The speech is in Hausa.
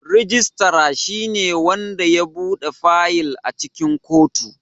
Registrar shine wanda ya buɗe fayil a cikin kotu.